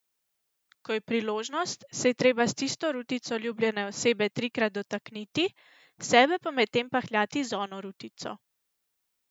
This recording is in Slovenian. Ko je priložnost, se je treba s tisto rutico ljubljene osebe trikrat dotakniti, sebe pa medtem pahljati z ono rutico.